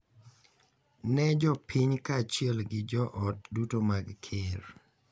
Ne jopiny kaachiel gi joot duto mag ker.